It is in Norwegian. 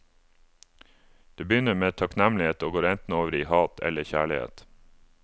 Det begynner med takknemlighet og går enten over i hat eller kjærlighet.